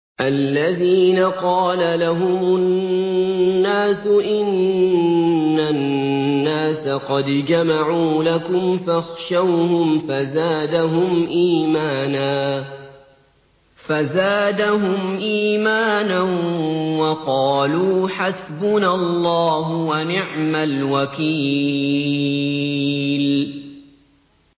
الَّذِينَ قَالَ لَهُمُ النَّاسُ إِنَّ النَّاسَ قَدْ جَمَعُوا لَكُمْ فَاخْشَوْهُمْ فَزَادَهُمْ إِيمَانًا وَقَالُوا حَسْبُنَا اللَّهُ وَنِعْمَ الْوَكِيلُ